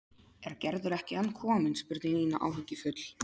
Er Gerður ekki enn komin? spurði Nína áhyggjufull.